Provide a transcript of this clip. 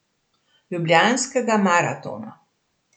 Ljubljanskega maratona.